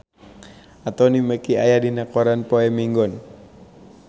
Anthony Mackie aya dina koran poe Minggon